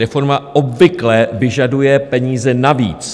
Reforma obvykle vyžaduje peníze navíc.